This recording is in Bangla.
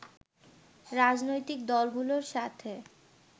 রাজনৈতিক দলগুলোর সাথে